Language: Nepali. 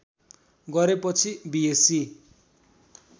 गरेपछि बिएस्सी